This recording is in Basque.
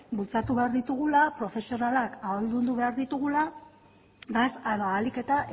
bultzatu behar ditugula profesionalak ahaldundu behar ditugula ahalik eta